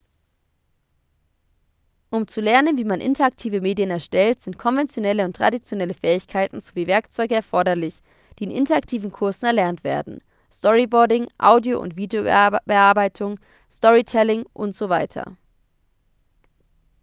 um zu lernen wie man interaktive medien erstellt sind konventionelle und traditionelle fähigkeiten sowie werkzeuge erforderlich die in interaktiven kursen erlernt werden storyboarding audio- und videobearbeitung storytelling usw.